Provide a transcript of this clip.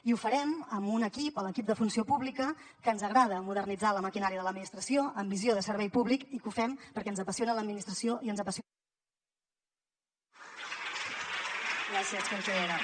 i ho farem amb un equip l’equip de funció pública que ens agrada modernitzar la maquinària de l’administració amb visió de servei públic i que ho fem perquè ens apassiona l’administració i ens apassiona